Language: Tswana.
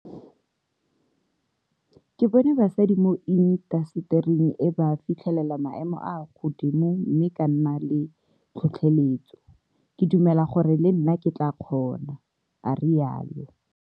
Ke bone basadi mo intasetering e ba fitlhelela maemo a a godimo mme ka nna le tlhotlheletso. Ke dumela gore le nna ke tla kgona, a rialo.